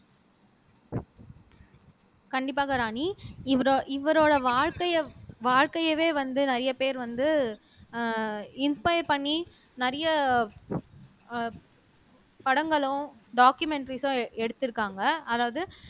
கண்டிப்பாக ராணி இவரோ இவரோட வாழ்க்கைய வாழ்க்கையவே வந்து நிறைய பேர் வந்து அஹ் இன்ஸ்பயர் பண்ணி நிறைய அஹ் படங்களும் டாக்குமெண்ட்டரிஸா எடுத்துருக்காங்க அதாவது